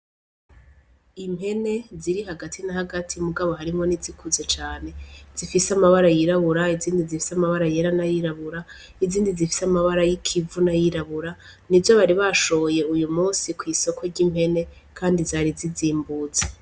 Impene ziri hagati na hagati mugabo harimwo n'izikuze cane zifise amabara yirabura, izindi zifise amabara yera n'ayirabura, izindi zifise amabara y'ikivu n'ayirabura, nizo bari bashoye uyu musi kw'isoko ry'impene kandi zari zizimbutse.